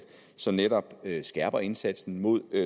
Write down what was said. som netop skærper indsatsen mod